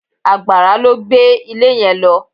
Àgbàrá ló gbé ilé yẹn lọ.